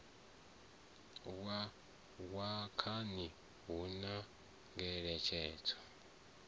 wa khani hu na ngeletshedzo